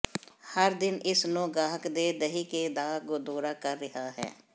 ਹਰ ਦਿਨ ਇਸ ਨੂੰ ਗਾਹਕ ਦੇ ਦਹਿ ਕੇ ਦਾ ਦੌਰਾ ਕਰ ਰਿਹਾ ਹੈ